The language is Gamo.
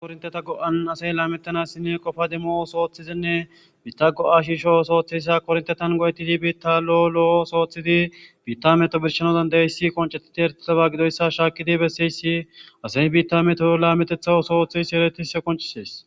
Kornteta go'an asay laamettana sini qofa demo sooththizinne biitta go'a shi shoo sooththeyssa korntetan go'etidi biitta lo'o lo'o sooththidi biitta meto birshanodandayessi qoncetidi ertilaba gidoyssa shaakidi besseyssi asay biitta meto laametetha sooththis seretise qoncisees.